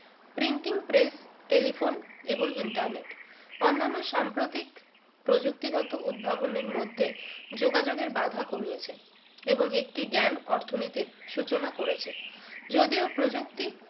printing press telephone এবং internet অন্যান্য সাম্প্রতিক প্রযুক্তিগত উদ্ভাবনের মধ্যে যোগাযোগের বাধা কমিয়েছে এবং একটি জ্ঞান অর্থনীতির সূচনা করেছে যদিও প্রযুক্তি